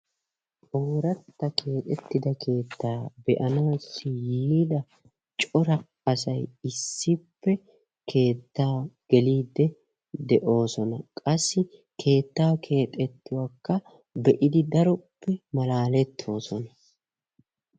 oorata keexxittida keetta be'anaw yiida cora asay issippe keetta gelide de'oosona. qassi keettaa keexxettuwakka be'idi malallettoosona.